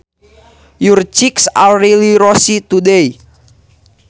Your cheeks are really rosy today